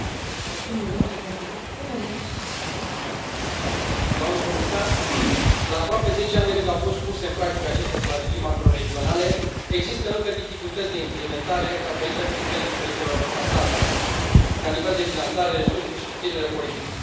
Doamnă președintă, doamnă comisar, la aproape 10 ani de când au fost puse în practică aceste strategii macro regionale, există încă dificultăți de implementare din cauza implicării diferite a statelor, ca nivel de finanțare, resurse și susținere politică.